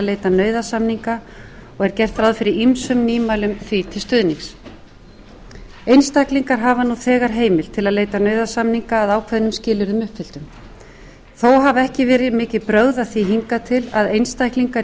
leita nauðasamninga og er gert ráð fyrir ýmsum nýmælum því til stuðnings einstaklingar hafa nú þegar heimild til að leita nauðasamninga að ákveðnum skilyrðum uppfylltum þó hafa ekki verið mikil brögð að því hingað til að einstaklingar í